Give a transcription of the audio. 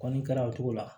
Kɔni kɛra o cogo la